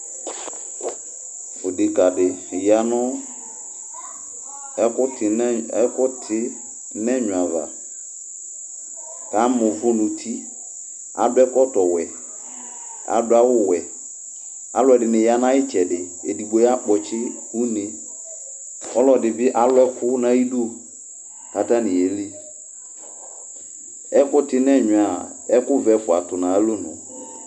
Odekǝ dɩ ya nʋ ɛkʋtɩ nʋ ɛnyɔ ava, kʋ ama uvu nʋ uti Adʋ ɛkɔtɔwɛ Adʋ awʋwɛ Alʋ ɛdɩnɩ ya nʋ ayʋ ɩtsɛdɩ Edigbo ya kpɔtsɩ une Ɔlɔdɩ bɩ alʋ ɛkʋ nʋ ayʋ ɩdʋ Kʋ atanɩ ye li Ɛkʋtɩ nʋ ɛnyɔ yɛa, ɛkʋvɛ ɛfʋa tʋ nʋ ayʋ alɔnʋ